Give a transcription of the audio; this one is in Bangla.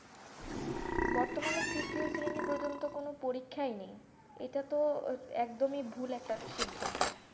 বর্তমানে তৃতীয় শ্রেণী পর্যন্ত কোনো পরীক্ষায় নেই এটা তো ভুল একটা সিদ্ধান্ত,